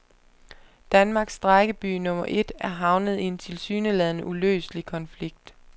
Danmarks strejkeby nummer et er havnet i en tilsyneladende uløselig konflikt.